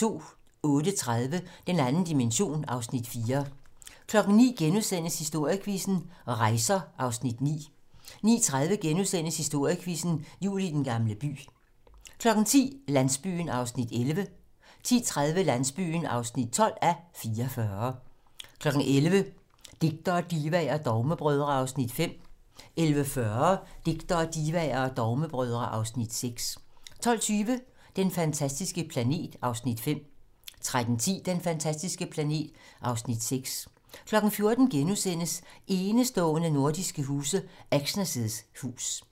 08:30: Den 2. dimension (Afs. 4) 09:00: Historiequizzen: Rejser (Afs. 9)* 09:30: Historiequizzen: Jul i Den Gamle By * 10:00: Landsbyen (11:44) 10:30: Landsbyen (12:44) 11:00: Digtere, divaer og dogmebrødre (Afs. 5) 11:40: Digtere, divaer og dogmebrødre (Afs. 6) 12:20: Den fantastiske planet (Afs. 5) 13:10: Den fantastiske planet (Afs. 6) 14:00: Enestående nordiske huse - Exner's hus *